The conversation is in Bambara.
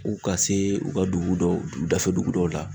U ka se u ka dugu dɔw dafɛ dugu dɔw la